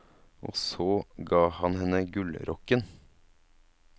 Og så ga hun henne gullrokken.